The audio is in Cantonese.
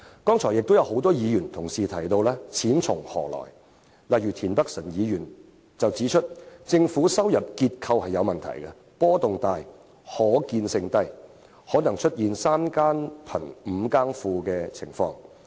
剛才亦有多位議員同事提到"錢從何來"的問題，例如田北辰議員指出政府的財政收入結構有問題，波動大，可預見性低，可能會出現"三更富，五更窮"的情況。